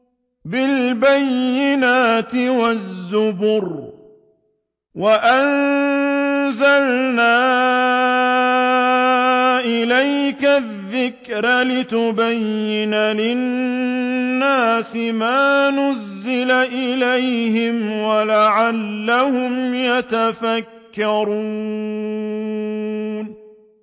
بِالْبَيِّنَاتِ وَالزُّبُرِ ۗ وَأَنزَلْنَا إِلَيْكَ الذِّكْرَ لِتُبَيِّنَ لِلنَّاسِ مَا نُزِّلَ إِلَيْهِمْ وَلَعَلَّهُمْ يَتَفَكَّرُونَ